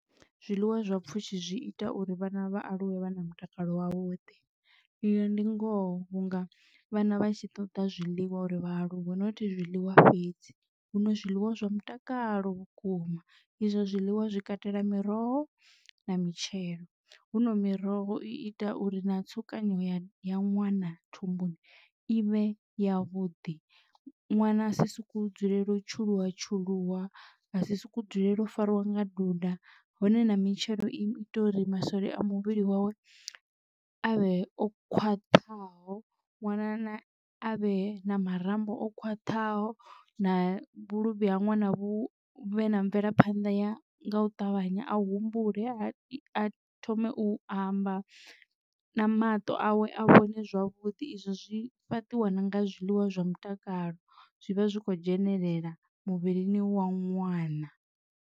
Zwiḽiwa zwa pfhushi zwi ita uri vhana vha aluwe vha na mutakalo wavhuḓi iyo ndi ngoho vhunga vhana vhatshi ṱoḓa zwiḽiwa uri vhaaluwa not zwiḽiwa fhedzi. Hu no zwiḽiwa zwa mutakalo vhukuma izwo zwiḽiwa zwi katela miroho na mitshelo, hu no miroho i ita uri na tsukanyo ya ya ṅwana thumbuni ivhe ya vhuḓi ṅwana a si sokou dzulela u tshuluwa tshuluwa a si sokou dzulela u fariwa nga duda hone na mitshelo i ita uri masole a muvhili wawe avhe o khwaṱhaho ṅwana avhe na marambo o khwaṱhaho na vhuluvhi ha ṅwana vhu vhe na mvelaphanḓa ya nga u ṱavhanya a humbule a thome u amba na maṱo awe a vhone zwavhudi izwo zwi fhaṱiwa na nga zwiḽiwa zwa mutakalo zwivha zwi kho dzhenelela muvhilini wa ṅwana.